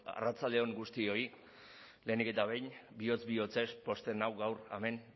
arratsalde on guztioi lehenik eta behin bihotz bihotzez pozten nau gaur hemen